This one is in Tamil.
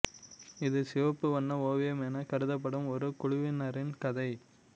இது சிவப்பு வண்ண ஓவியம் எனக் கருதப்படும் ஒரு குழுவினரின் கதை